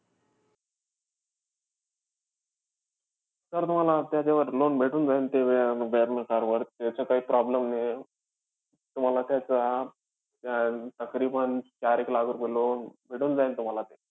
Sir तुम्हाला त्याच्यावर loan भेटून जाईल, ते त्या varna car वर. त्याचा काही problem नाहीये. तुम्हाला त्याचा अं ताकरीबांन चार-एक लाख रुपये loan भेटून जाईल तुम्हाला ते.